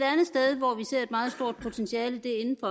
meget stort potentiale